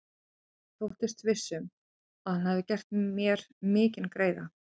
Hann þóttist viss um, að hann hefði gert mér mikinn greiða.